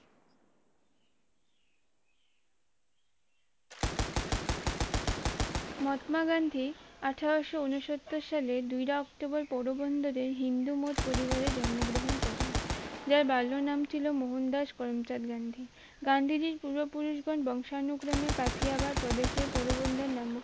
মহাত্মা গান্ধী আঠোরোশো ঊনসত্তর সালে দুইরা অক্টোবর পৌর বন্দরে হিন্দু মত পরিবারে জন্মগ্রহণ করেন যার বাল্য নাম ছিল মোহনদাস করমচাঁদ গান্ধী গান্ধীজির পূর্বপুরুষগণ বংশা অনুক্রমে কাথিয়াবাদ প্রদশই পোরবন্দর নামে